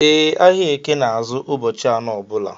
E, ahịa eke na azụ ụbọchị anọ ọbula